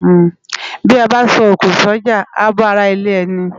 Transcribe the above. Bi á bá sò ókó si òjá á bá àrá ilè èni